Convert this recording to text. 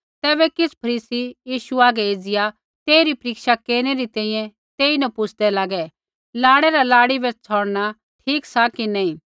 तैबै किछ़ फरीसी यीशु हागै एज़िया तेइरी परीक्षा केरनै री तैंईंयैं तेईन पुछ़दै लागै लाड़ै रा लाड़ी बै छ़ौड़णा ठीक सा कि नैंई